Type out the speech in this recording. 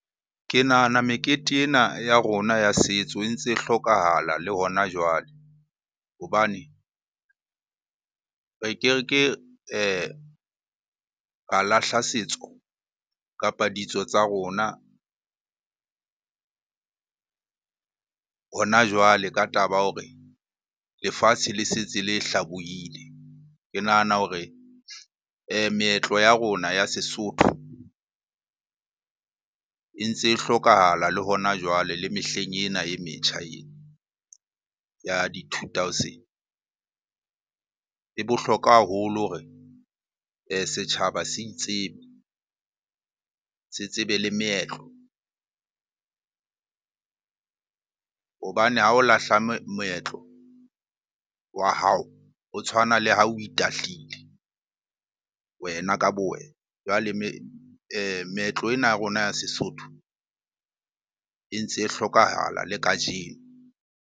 Ke nahana mekete ena ya rona ya setso e ntse e hlokahala le hona jwale hobane re ke ra lahla setso, kapa ditso tsa rona hona jwale ka taba ya hore lefatshe le setse le hlabohile. Ke nahana hore meetlo ya rona ya Sesotho e ntse e hlokahala le hona jwale le mehleng ena e metjha ena, ya di-two thousand. E bohlokwa haholo hore setjhaba se itsebe, se tsebe le meetlo. Hobane ha o lahla moetlo wa hao, ho tshwana le ha o itahlile wena ka bo wena. Jwale meetlo ena ya rona ya Sesotho e ntse e hlokahala le kajeno.